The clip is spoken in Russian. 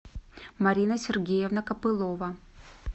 марина сергеевна копылова